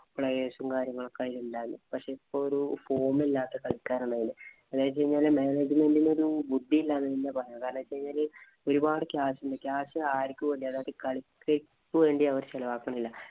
player's ഉം, കാര്യങ്ങളും ഒക്കെ അതിലുണ്ടായിരുന്നു. ഇപ്പൊ ഒരു form ഇല്ലാത്ത കളിക്കാരണതില്. അതായത് manangement ഇന് ഒരു ബുദ്ധി ഇല്ലാന്ന് തന്നെ പറയാം. കാരണം ഒരു പാട് catch ഉണ്ട്. catch ആര്ക്കും വേണ്ടി അതായതു കളിക്കു വേണ്ടി ചെലവാക്കണില്ല.